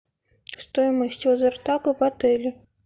стоимость лазертага в отеле